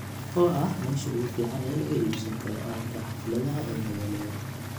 oo ah meesha ugu fiican ee laga iibsan karo agabka xafladaha ee magaalada